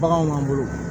Baganw b'an bolo